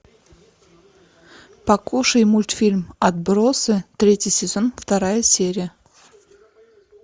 покушай мультфильм отбросы третий сезон вторая серия